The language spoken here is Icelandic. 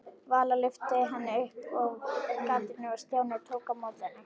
Vala lyfti henni upp að gatinu og Stjáni tók á móti henni.